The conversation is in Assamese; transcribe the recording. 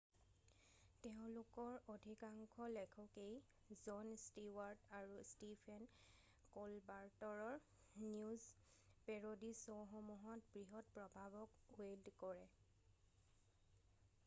তেওঁলোকৰ অধিকাংশ লেখকেই জন ষ্টিৱাৰ্ট আৰু ষ্টিফেন ক'লবাৰ্টৰৰ নিউজ পেৰ'ডি শ্ব'সমূহত বৃহৎ প্ৰভাৱক ৱেইল্ড কৰে৷